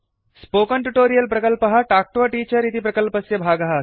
spoken tutorial प्रकल्पः talk to a teacher इति प्रकल्पस्य भागः अस्ति